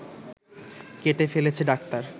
কেটে ফেলছে ডাক্তার